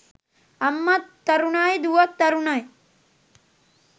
අම්මත් තරුණයි දුවත් තරුණයි.